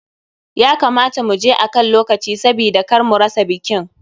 Ya kamata mu je akan lokaci sabida kar mu rasa bikin.